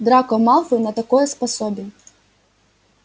драко малфой на такое способен